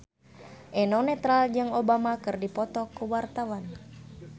Eno Netral jeung Obama keur dipoto ku wartawan